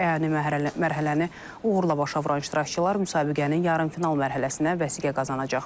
Əyani mərhələni uğurla başa vuran iştirakçılar müsabiqənin yarımfinal mərhələsinə vəsiqə qazanacaq.